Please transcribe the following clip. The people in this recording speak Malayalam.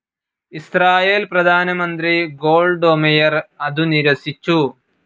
ഇസ്രായേൽ പ്രധാനമന്ത്രി ഗോൾഡൊമെയ്ർ അതു നിരസിച്ചു.